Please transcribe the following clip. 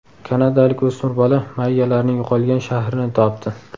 Kanadalik o‘smir bola mayyalarning yo‘qolgan shahrini topdi.